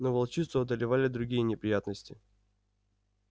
но волчицу одолевали другие неприятности